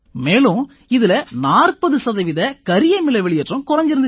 மேலும் இதில 40 சதவீத கரியமில வெளியேற்றம் குறைஞ்சிருந்திச்சு